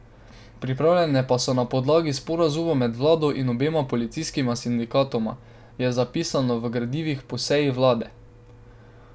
Pripravljene pa so na podlagi sporazuma med vlado in obema policijskima sindikatoma, je zapisano v gradivih po seji vlade.